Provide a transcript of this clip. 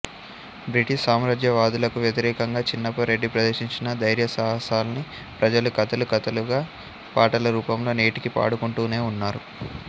British సామ్రాజ్యవాదులకు వ్యతిరేకంగా చిన్నపరెడ్డి ప్రదర్శించిన ధైర్యసాహసాల్ని ప్రజలు కథలు కథలుగా పాటల రూపంలో నేటికీ పాడుకుంటూనే ఉన్నారు